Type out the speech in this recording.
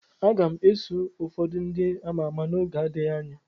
Aga m eso ụfọdụ ndị ama ama n'oge n'adịghị anya.